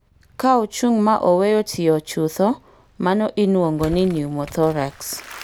Ka ochung' ma owe tiyo chutho, mano inuongo ni pneumothorax